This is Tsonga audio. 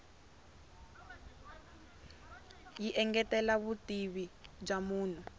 yi engetela vutivi bya munhu